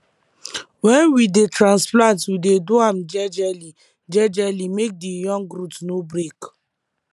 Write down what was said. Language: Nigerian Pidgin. wen we dey transplant we dey do am jejely jejely make the young root no break